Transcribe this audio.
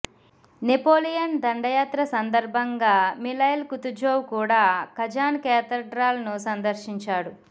Napoleon దండయాత్ర సందర్భంగా Mikhail Kutuzov కూడా కజాన్ కేథడ్రాల్ను సందర్శించాడు